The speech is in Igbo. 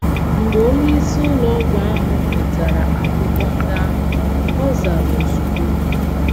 Mgbe onyeisi ụlọ ọgwụ ahụ nwetara akwụkwọ ndị ahụ, ọ zara ozugbo.